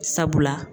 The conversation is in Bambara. Sabula